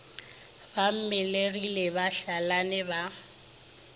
ba mmelegi ba hlalane ba